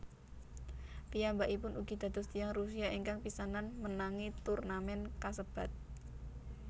Piyambakipun ugi dados tiyang Rusia ingkang pisanan menangi turnamèn kasebat